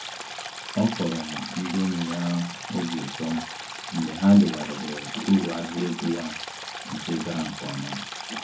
Ọ kọrọ ndị enyi ya obi ụtọ mgbe ha legharịrị uru ahịa ego ya nke gara nke ọma